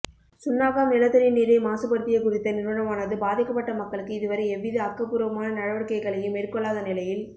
சுன்னாகம் நிலத்தடி நீரை மாசுபடுத்திய குறித்த நிறுவனமானது பாதிக்கப்பட்ட மக்களுக்கு இதுவரை எவ்வித ஆக்கபூர்வமான நடவடிக்கைகளையும் மேற்கொள்ளாத நிலையில்